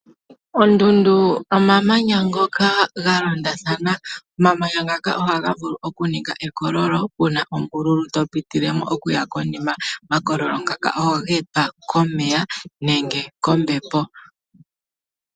Ondundu omamanya ngoka ga londathana. Omamanya ngoka ohaga vulu oku ninga ekololo puna ombululu to pitilemo okuya konima. Omakololo ngaka ohage etwa komeya nenge kombepo.